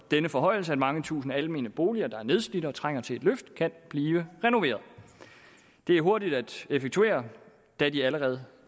denne forhøjelse at mange tusinde almene boliger der er nedslidte og trænger til et løft kan blive renoveret det er hurtigt at effektuere da de allerede